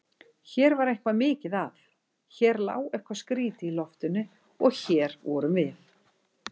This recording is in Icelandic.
Hér var eitthvað mikið að, hér lá eitthvað skrýtið í loftinu- og hér vorum við.